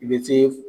I bɛ se